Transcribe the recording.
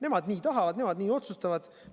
Nemad nii tahavad, nemad nii otsustavad.